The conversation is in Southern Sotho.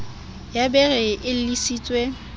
ya be e re elellisitswe